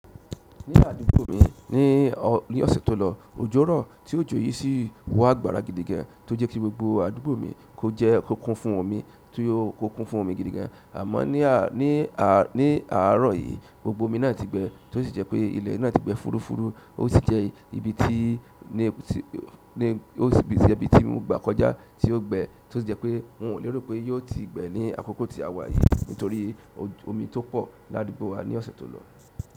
Ní àdúgbò mi ní, ní ọ̀sẹ̀ tó lọ, òjò rọ̀ tí òjò yìí sì wá àgbàrà gidigan tó jẹ́ kí gbogbo àdúgbò mi kó jẹ́ kó kún fún omi, tí ó kó kún fún omi gidigan. Àmọ́ ní à, ní à, ní àárọ̀ yìí, gbogbo omi náà ti gbẹ tó sì jẹ́ pé ilẹ̀ náà ti gbẹ́ fúrufúru, ó sì jẹ́ ibi tí ní, ní ó sì jẹ́ ibi tí mo gba kọjá tí ó gbẹ tó sì jẹ́ pé n wò lero pé yóò ti gbẹ ní àkókò tí a wà yìí nítorí ojú, omi tó pọ̀ ládúgbò wa ní ọ̀sẹ̀ tó lọ.